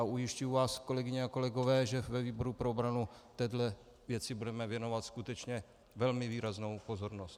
A ujišťuji vás, kolegyně a kolegové, že ve výboru pro obranu téhle věci budeme věnovat skutečně velmi výraznou pozornost.